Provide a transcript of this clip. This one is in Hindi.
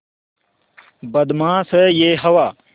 बदमाश है यह हवा